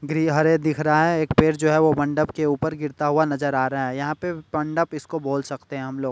ये हरे दिख रहा है एक पैर जो है वो मंडप के ऊपर गिरता हुआ नजर आ रहा है यहां पे मंडप इसको बोल सकते हैं हम लोग।